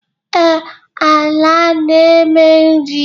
Ee, ala a na-eme nri